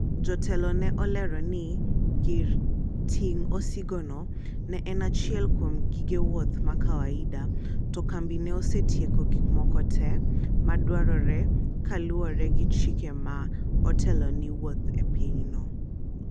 MANAGEM ne olero ni gir ting osigo no ne en achiel kuom gige wuoth ma kawaida to kambi neosetieko yote te madwarore kaluwore gi chike ma otelo ni wuoth e pinyno